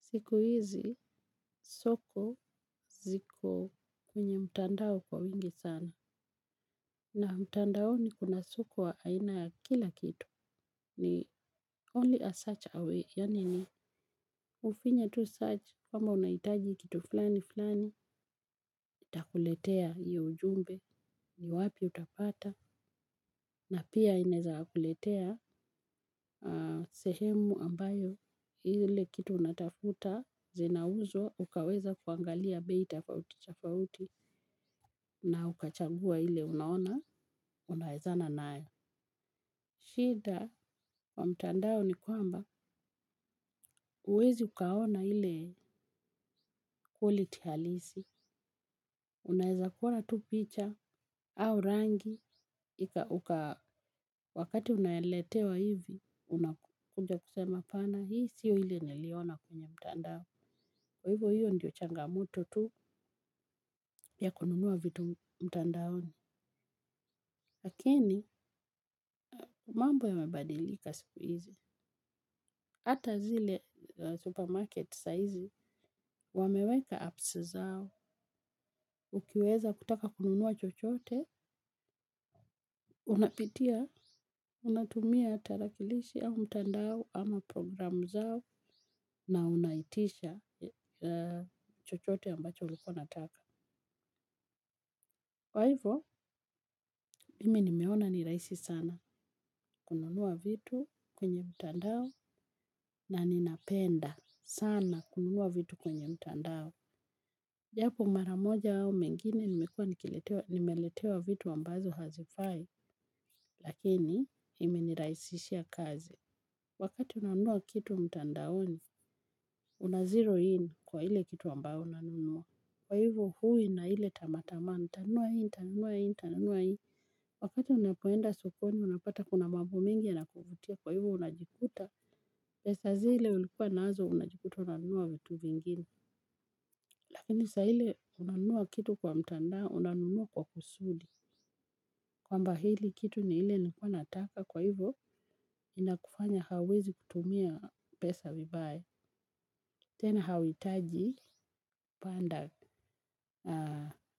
Siku hizi, soko ziko kwenye mtandao kwa wingi sana. Na mtandaoni kuna soko wa aina ya kila kitu. Ni only a search away. Yani ni, ufinye tu search. Kwamba unaitaji kitu fulani fulani, itakuletea iyo ujumbe ni wapi utapata. Na pia ineza kuletea sehemu ambayo hile kitu natafuta, zina uzwa, ukaweza kuangalia bei tafauti tafauti. Na ukachangua hile unaona, unaezana nayo. Shida wa mtandao ni kwamba uwezi ukaona hile quality halisi. Unaeza kuona tu picha au rangi. Wakati unayeletewa hivi, unakunja kusema apana. Hii sio hile niliona kwenye mtandao. Kwa hivyo hiyo ndio changamoto tu ya kununua vitu mtandaoni. Lakini, mambo ya mebadilika siku hizi. Hata zile supermarket saizi, wameweka apps zao, ukiweza kutaka kununua chochote, unapitia, unatumia tarakilishi au mtandao ama programu zao na unaitisha chochote ambacho ulikuwa unataka. Kwa hivyo, mimi nimeona ni raisi sana, kununua vitu kwenye mtandao na ninapenda sana kununua vitu kwenye mtandao. Japo mara moja au mengine nimekuwa nimeletewa vitu ambazo hazifai, lakini imeniraisishia kazi. Wakati unanua kitu mtandaoni, unazero in kwa hile kitu ambao unanunua. Kwa hivuo hui na hile tamaatamaa, unanunua in, unanunua in, unanunua in. Wakati unapoenda sokoni, unapata kuna mambo mingi yanakuvutia, kwa hivo unajikuta. Pesa zile ulikuwa nazo unajikuta unanunua vitu vingine. Lakini sa hile unanunua kitu kwa mtandao, unanunua kwa kusudi. Kwamba hili kitu ni hile nilikuwa nataka kwa hivo, inakufanya hawezi kutumia pesa vibaya. Tena hauitaji, panda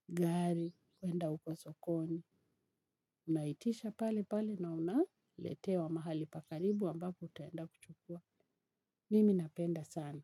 gari, kwenda uko sokoni. Unaitisha pale pale na unaletewa mahali pa karibu ambako utaenda kuchukua. Mimi napenda sana.